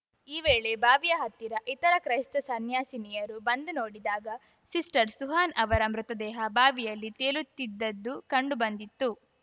ಈ ವೇಳೆ ಬಾವಿಯ ಹತ್ತಿರ ಇತರ ಕ್ರೈಸ್ತ ಸನ್ಯಾಸಿನಿಯರು ಬಂದು ನೋಡಿದಾಗ ಸಿಸ್ಟರ್‌ ಸುಹಾನ್‌ ಅವರ ಮೃತದೇಹ ಬಾವಿಯಲ್ಲಿ ತೇಲುತ್ತಿದ್ದದ್ದು ಕಂಡು ಬಂದಿತ್ತು